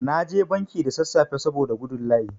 Na je banki da sassafe saboda gudun layi.